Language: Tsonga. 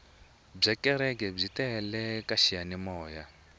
bya kereke byi tele ka xiyanimoya